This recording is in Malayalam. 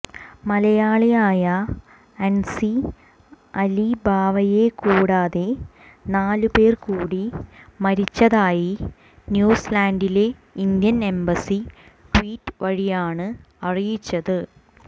മലയാളിയായ അൻസി അലിബാവയെക്കൂടാതെ നാലുപേർകൂടി മരിച്ചതായി ന്യൂസീലൻഡിലെ ഇന്ത്യൻ എംബസി ട്വീറ്റ് വഴിയാണ് അറിയിച്ചത്